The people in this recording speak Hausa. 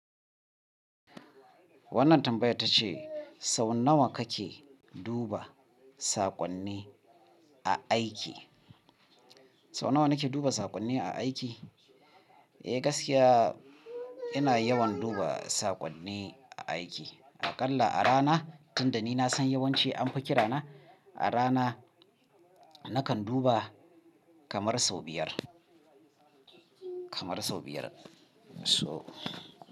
Wannan tambaya ta ce sau nawa kake duba saƙonni a aiki? Sau nawa nake duba saƙonni a aiki? Eh gaskiya ina yawan duba saƙonni a aiki. Aƙalla a rana, tunda ni na san yawanci anfi kirana a rana nakan duba kamar sau biyar, kamar sau biyar. So.